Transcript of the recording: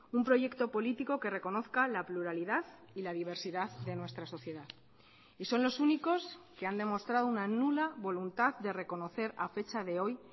un proyecto político que reconozca la pluralidad y la diversidad de nuestra sociedad y son los únicos que han demostrado una nula voluntad de reconocer a fecha de hoy